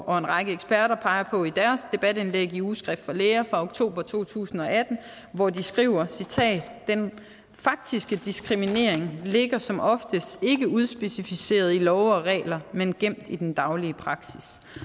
og en række eksperter peger på i deres debatindlæg i ugeskrift for læger fra oktober to tusind og atten hvor de skriver citat den faktiske diskriminering ligger som oftest ikke udspecificeret i love og regler men gemt i den daglige praksis